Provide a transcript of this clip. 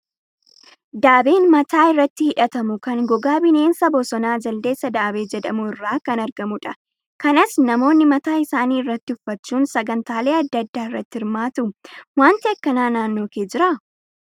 Daabeen mataa irratti hidhatamu kan gogaa bineensa bosonaa jaldeessa daabee jedhamu irraa kan argamudha. Kanas namoonni mataa isaanii irratti uffachuun sagantaalee adda addaa irratti hirmaatu. Wanti akkanaa naannoo kee jiraa?